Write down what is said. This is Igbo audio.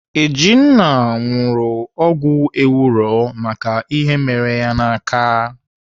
Ejinna ṅụrụ ọgwụ ewuro maka ihe mere ya n'aka.